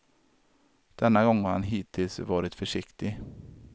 Denna gång har han hittills varit försiktig.